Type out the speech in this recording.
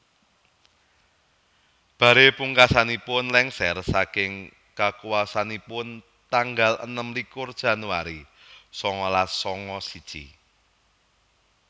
Barre pungkasanipun lèngsèr saking kakuwaosanipun tanggal enem likur Januari sangalas sanga siji